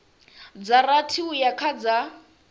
dza rathi uya kha dza